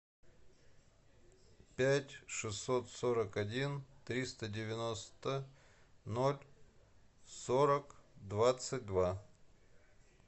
пять шестьсот сорок один триста девяносто ноль сорок двадцать два